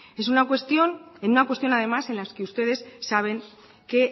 es una cuestión en una cuestión además en las que ustedes saben que